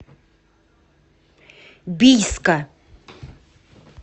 бийска